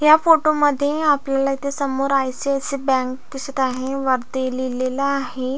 या फोटोमध्ये आपल्याला इथे समोर आय.सी.आय.सी.आय. बँक दिसत आहे वरती लिहलेल आहे.